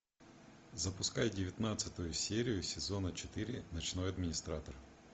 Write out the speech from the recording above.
запускай девятнадцатую серию сезона четыре ночной администратор